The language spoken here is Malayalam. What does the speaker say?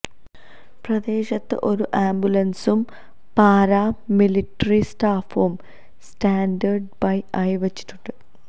പ്രദേശത്ത് ഒരു ആംബുലൻസും പാരാ മിലിട്ടറി സ്റ്റാഫും സ്റ്റാൻഡ് ബൈ ആയി വെച്ചിട്ടുണ്ട്